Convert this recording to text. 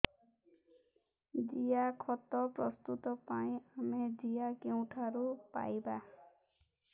ଜିଆଖତ ପ୍ରସ୍ତୁତ ପାଇଁ ଆମେ ଜିଆ କେଉଁଠାରୁ ପାଈବା